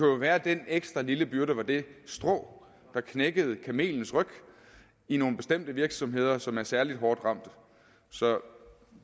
jo være at den ekstra lille byrde var det strå der knækkede kamelens ryg i nogle bestemte virksomheder som er særlig hårdt ramte så